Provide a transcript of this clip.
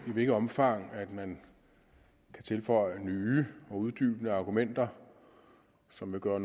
i hvilket omfang man kan tilføje nye og uddybende argumenter som vil gøre